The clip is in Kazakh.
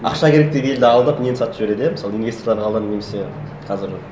ақша керек деп елді алдап нені сатып жібереді иә мысалы немесе қазір